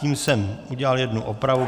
Tím jsem udělal jednu opravu.